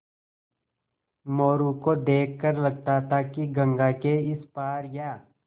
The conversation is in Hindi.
मोरू को देख कर लगता था कि गंगा के इस पार या